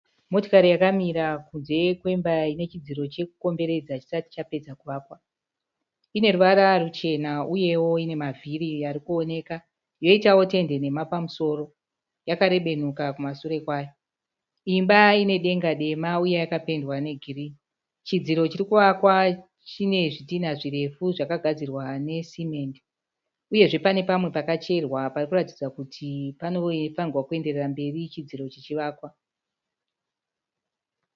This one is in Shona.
Motikari yakamira kunze kwemba inechidziro chekukomberedza chisati chapedza kuvakwa. Ineruvara ruchena uyewo ine mavhiri arikuoneka yoitawo tende nhema pamusoro, yakarebenuka kumasure kwayo. Imba inedenga refu uye yakapendwa negirini. Chidziro chirikuvakwa chine zvidhinha zvakagadzirwa nesemende uyezve pane pamwe pakacherwa parikuratidza kuti panofanirwa kuenderera mberi chidziro chichivakwa.